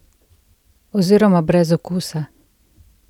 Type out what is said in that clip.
Oziroma brez okusa!